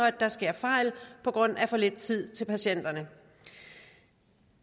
at der sker fejl på grund af for lidt tid til patienterne